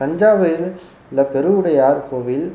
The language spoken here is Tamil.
தஞ்சாவூரில் உள்ள பெருவுடையார் கோவில்